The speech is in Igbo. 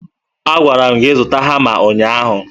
Agwara m gị zụta hama ụnyaahụ